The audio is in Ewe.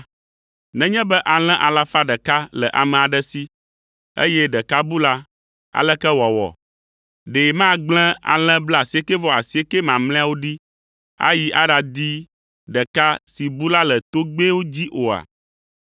“Nenye be alẽ alafa ɖeka le ame aɖe si, eye ɖeka bu la, aleke wòawɔ? Ɖe magble alẽ blaasiekɛ-vɔ-asiekɛ mamlɛawo ɖi ayi aɖadi ɖeka si bu la le togbɛwo dzi oa?